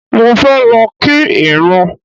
Mo fẹ́ lọ kí ìrún.